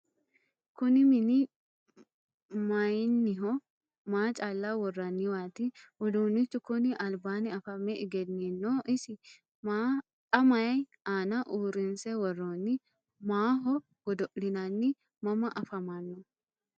Kunni minni maayiinniho? Maa calla woraanniwaati? Uduunichu konni alibbanni afame egeniinno isi? Xa mayi aanna uurinse woroonni? Maaho godo'linaanni? Mama afammanno?